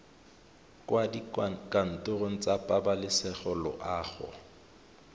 kwa dikantorong tsa pabalesego loago